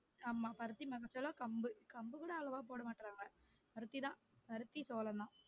ஆமா பருத்தி மக்காச்சோளம் கம்பு கூட அவ்ளோவா போட மாட்டாங்க பருத்தி தான் பருத்தி சோளம் தான்